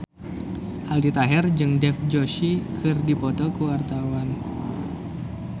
Aldi Taher jeung Dev Joshi keur dipoto ku wartawan